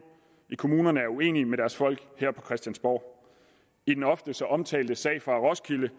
i kommunerne er uenige med deres folk her på christiansborg i den ofte så omtalte sag fra roskilde